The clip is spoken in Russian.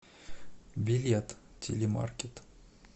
билет телемаркет